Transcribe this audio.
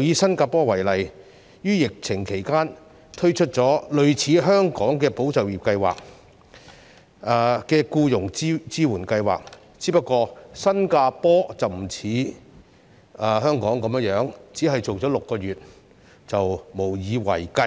以新加坡為例，於疫情期間，推出了類似香港"保就業"計劃的僱傭支援計劃，只是新加坡不似香港般只進行6個月便無以為繼，